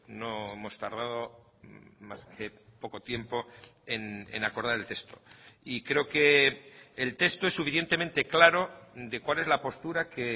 no hemos tardado más que poco tiempo en acordar el texto y creo que el texto es suficientemente claro de cuál es la postura que